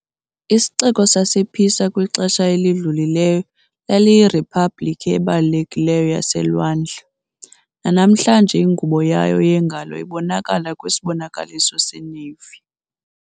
Isixeko sasePisa kwixesha elidlulileyo laliyiriphabliki ebalulekileyo yaselwandle - nanamhlanje ingubo yayo yengalo ibonakala kwisibonakaliso seNavy .